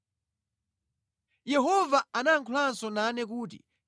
Yehova anayankhulanso nane kuti,